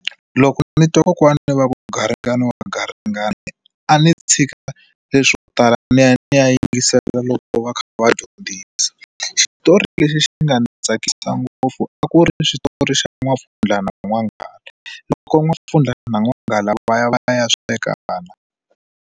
Loko ni twa kokwani va ku garingani wa garingani a ni tshika leswo tala ni ya ni ya yingisela loko va kha va dyondzisa xitori lexi xi nga ni tsakisa ngopfu a ku ri xitori xa N'wampfundla na n'wanghala loko ko n'wampfundla na n'wanghala va ya va ya sweka .